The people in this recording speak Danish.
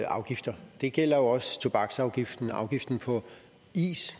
afgifter det gælder også tobaksafgiften afgiften på is